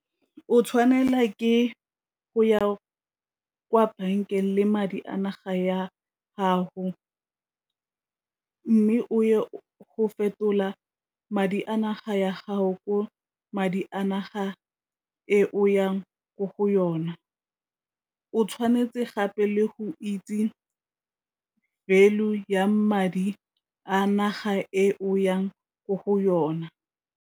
O tshwanela ke go ya kwa bankeng le madi a naga ya haho mme o ye go fetola madi a naga ya gago ko madi di a naga e o yang ko go yona. O tshwanetse gape le go itse value ya madi a naga e o yang ko go yona.